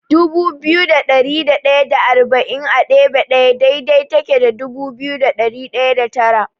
Dubu biyu da ɗari ɗaya da arba'in a ɗebe ɗaya daidai take da dubu biyu da ɗari ɗaya da tara.